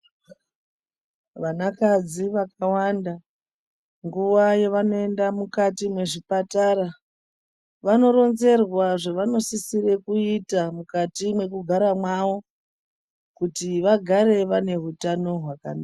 Vanakadzi vakawanda nguwa yevanoenda mukati mwezvipatara vanoronzerwa zvavanosisire kuita mukati mwekugara mwawo kuti vagare vane utano hwakanaka.